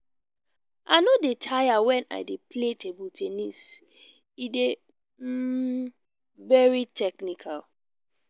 i no dey tire wen i dey play table ten nis e dey um very technical